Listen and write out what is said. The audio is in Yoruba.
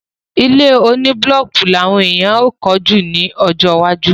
Ilé oní búlọ́kì ní àwọn èèyàn yóò kọ́ jù lọ lọ́jọ́ iwájú.